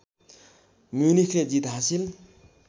म्युनिखले जित हासिल